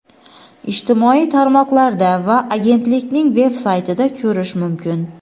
ijtimoiy tarmoqlarda va agentlikning veb-saytida ko‘rish mumkin.